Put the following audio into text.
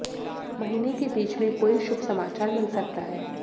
महीने के बीच में कोई शुभ समाचार मिल सकता है